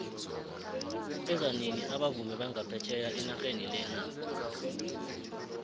beza nini abavumi banga phetjheya enaxheni lena